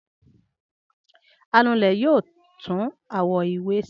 Anulẹ̀ yóò tún àwo-ìwẹ̀ ṣe.